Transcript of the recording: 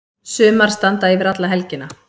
Sumar standa yfir alla helgina.